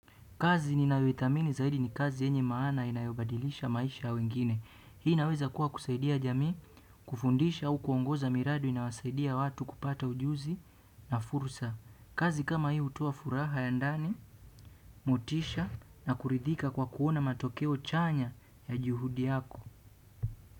Kazi ninayoithamini zaidi ni kazi yenye maana inayobadilisha maisha ya wengine. Hii inaweza kuwa kusaidia jamii, kufundisha au kuongoza miradi inayowasaidia watu kupata ujuzi na fursa. Kazi kama hii hutoa furaha ya ndani, motisha na kuridhika kwa kuona matokeo chanya ya juhudi yako.